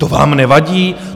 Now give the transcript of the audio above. To vám nevadí?